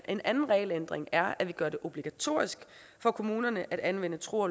en anden regelændring er at gøre det obligatorisk for kommunerne at anvende tro